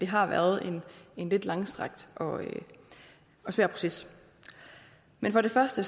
har været en lidt langstrakt og svær proces men for det første